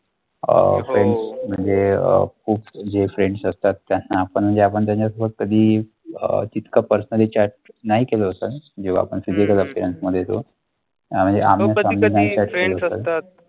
अह म्हणजे जे फ्रेंड्स असतात त्यांना आपण ज्या बंद आहेत व कधीं अं तीथ का पर्सनली चाट नाही केला होता जेव्हा पण